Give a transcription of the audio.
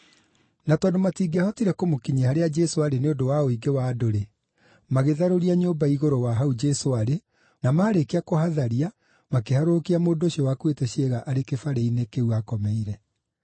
Na tondũ matingĩahotire kũmũkinyia harĩa Jesũ aarĩ nĩ ũndũ wa ũingĩ wa andũ-rĩ, magĩtharũria nyũmba igũrũ wa hau Jesũ aarĩ na maarĩkia kũhatharia, makĩharũrũkia mũndũ ũcio wakuĩte ciĩga arĩ kĩbarĩ-inĩ kĩu aakomeire.